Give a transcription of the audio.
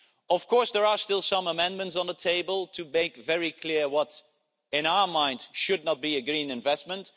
Of course, there are still some amendments on the table to make very clear what, in our mind, should not be considered a green investment.